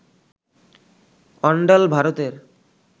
অন্ডাল, ভারতের